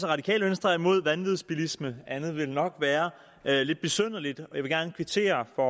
radikale venstre er imod vanvidsbilisme andet ville nok være lidt besynderligt og vil gerne kvittere for